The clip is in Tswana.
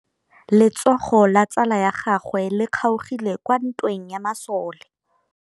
Letsôgô la tsala ya gagwe le kgaogile kwa ntweng ya masole.